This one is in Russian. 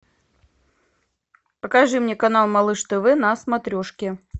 покажи мне канал малыш тв на смотрешке